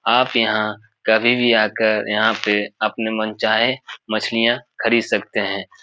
आप यहाँ कभी भी आकर यहाँ पे अपने मनचाहे मछलियाँ खरीद सकते हैं।